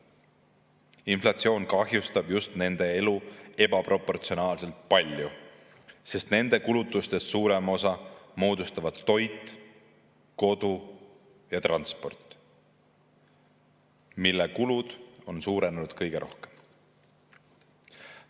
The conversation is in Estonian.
Inflatsioon kahjustab just nende elu ebaproportsionaalselt palju, sest nende kulutustest suurema osa moodustavad kulutused toidule, kodule ja transpordile, mis on kõige rohkem suurenenud.